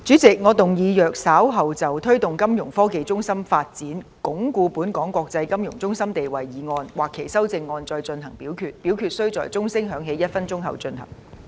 主席，我動議若稍後就"推動金融科技中心發展，鞏固本港的國際金融中心地位"所提出的議案或修正案再進行點名表決，表決須在鐘聲響起1分鐘後進行。